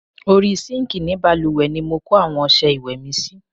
Orí sinkii ni bálùwẹ̀ ni mo kó àwọn ọsẹ ìwẹ̀ sí.